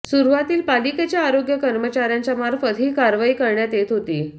सुरुवातील पालिकेच्या आरोग्य कर्मचाऱ्यांच्या मार्फत ही कारवाई करण्यात येत होती